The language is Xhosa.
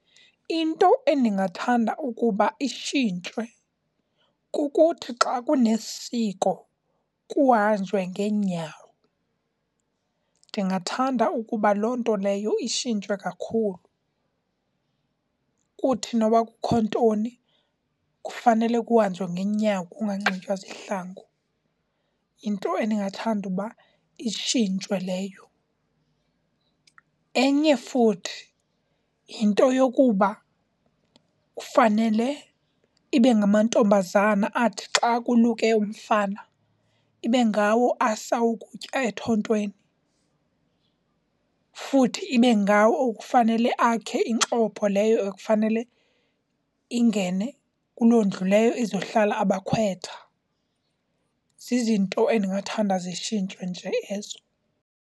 Into endingathanda ukuba itshintshwe kukuthi xa kunesiko kuhanjwe ngeenyawo. Ndingathanda ukuba loo nto leyo itshintshwe kakhulu. Kuthi noba kukho ntoni kufanele kuhanjwe ngenyawo kunganxitywa zihlangu, yinto endingathanda uba itshintshwe leyo. Enye futhi yinto yokuba kufanele ibe ngamantombazana athi xa kuluke umfana ibe ngawo asa ukutya ethontweni, futhi ibe ngawo okufanele akhe inxopho leyo ekufanele ingene kuloo ndlu leyo izohlala abakhwetha. Zizinto endingathanda zitshintshwe nje ezo.